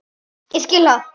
Ég skil það!